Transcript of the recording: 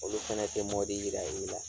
Olu fɛnɛ te mɔbi yira i la